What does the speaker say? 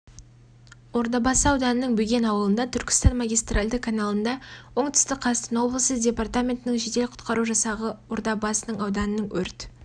ордабасы ауданының бөген ауылында түркістан магистральды каналында оңтүстік қазақстан облысы департаментінің жедел-құтқару жасағы ордабасы ауданының өрт